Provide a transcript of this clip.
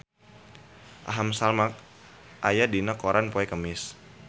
Aham Sharma aya dina koran poe Kemis